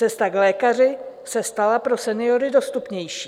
Cesta k lékaři se stala pro seniory dostupnější.